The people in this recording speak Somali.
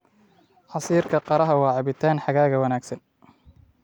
Casiirka qaraha waa cabitaan xagaaga wanaagsan.